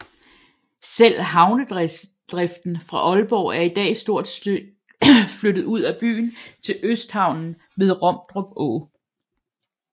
Selve havnedriften fra Aalborg er i dag stort set flyttet ud af byen til Østhavnen ved Romdrup Å